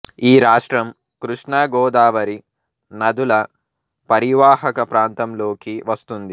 ఈ రాష్ట్రం కృష్ణా గోదావరి నదుల పరీవాహక ప్రాంతంలోకి వస్తుంది